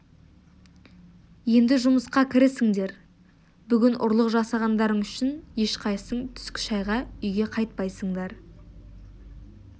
енді жұмысқа кірісіңдер бүгін ұрлық жасағандарың үшін ешқайсың түскі шайға үйге қайтпайсыңдар